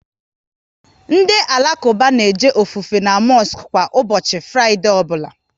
Ndị Alakuba na eje ofufe n' mosku kwa ụbọchị Fraịdee ọbụla